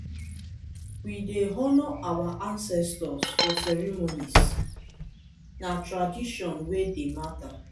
we dey honor our ancestors for ceremonies; na tradition wey dey matter.